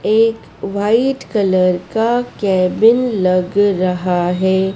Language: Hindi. एक व्हाइट कलर का केबिन लग रहा है।